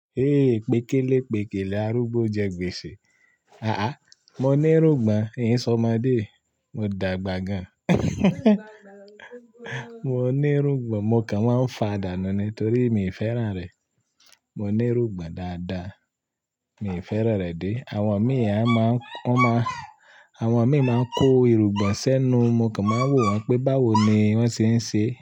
"Eh, pékélé pékélé, arúgbó jẹ gbèsè." "Àá àá, mo ní irúgbọn, n sọ ọmọdé." Mo dàgbà gan. Mo ní irúgbọn, mo kàn máa ń fa dànù nítorí mi ò fẹ́ràn rẹ̀. Mo ní irúgbìn dáadáa, mi ò fẹ́ràn rẹ̀ dé. Àwọn mi ẹn máa ń, wọ́n máa, àwọn mi máa ń kó irúgbun sẹ́nu, mo kàn máa ń wò wọ́n pé báwo ni wọ́n se ń ṣe.